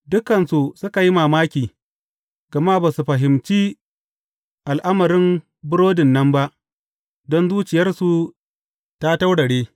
Dukansu suka yi mamaki, gama ba su fahimci al’amarin burodin nan ba, don zuciyarsu ta taurare.